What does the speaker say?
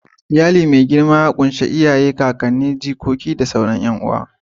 Iyali mai girma ya ƙunshi Uba, Uwa, 'ya'ya, jikoki, kakanni da sauran 'yan uwa.